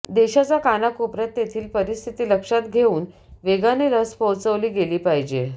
देशाच्या कानाकोपऱ्यात तेथील परिस्थिती लक्षात घेऊन वेगाने लस पोहोचवली गेली पाहिजे